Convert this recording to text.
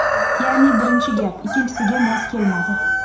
Ya’ni, birinchi gap ikkinchisiga mos kelmadi.